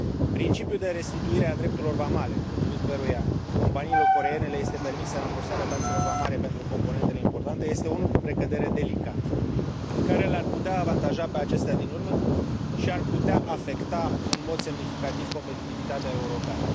Principiul de restituire a drepturilor vamale, potrivit căruia companiilor coreene le este permisă rambursarea taxelor vamale pentru componentele importante, este unul cu precădere delicat, care le ar putea avantaja pe acestea din urmă și ar putea afecta în mod semnificativ competitivitatea europeană.